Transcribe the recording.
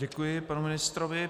Děkuji panu ministrovi.